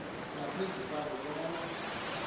ngaphezu kwabo bonke